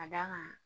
Ka d'a kan